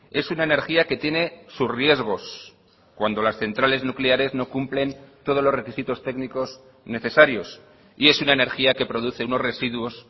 es una energía que tiene sus riesgos cuando las centrales nucleares no cumplen todos los requisitos técnicos necesarios y es una energía que produce unos residuos